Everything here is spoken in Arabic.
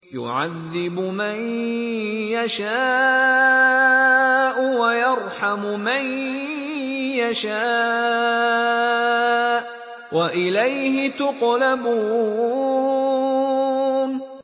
يُعَذِّبُ مَن يَشَاءُ وَيَرْحَمُ مَن يَشَاءُ ۖ وَإِلَيْهِ تُقْلَبُونَ